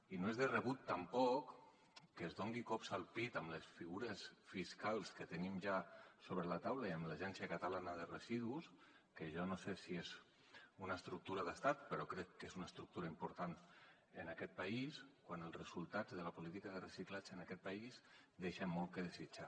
i no és de rebut tampoc que es doni cops al pit amb les figures fiscals que tenim ja sobre la taula i amb l’agència de residus de catalunya que jo no sé si és una estructura d’estat però crec que és una estructura important en aquest país quan els resultats de la política de reciclatge en aquest país deixen molt que desitjar